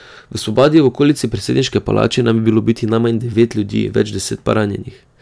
V spopadih v okolici predsedniške palače naj bi bilo ubitih najmanj devet ljudi, več deset pa ranjenih.